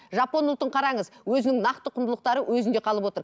жапон ұлтын қараңыз өзінің нақты құндылықтары өзінде қалып отыр